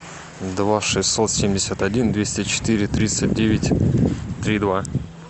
два шестьсот семьдесят один двести четыре тридцать девять три два